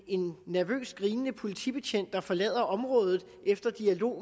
en nervøst grinende politibetjent der forlader området efter dialog